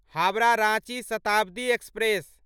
Howrah Ranchi Shatabdi express